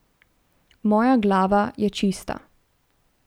Moja glava je čista.